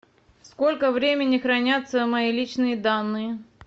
сколько времени хранятся мои личные данные